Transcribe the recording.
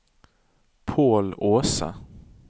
Pål Aase